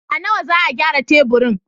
A nawa za a gyara taburin?